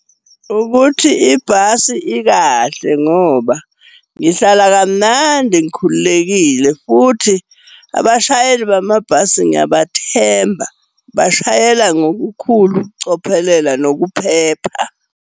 Ukuthi ibhasi ikahle ngoba ngihlala kamnandi ngikhululekile, futhi abashayeli bamabhasi ngiyabathemba. Bashayela ngokukhulu ukucophelela, nokuphepha.